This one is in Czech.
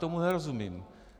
Tomu nerozumím.